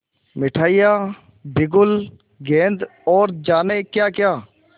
मिठाइयाँ बिगुल गेंद और जाने क्याक्या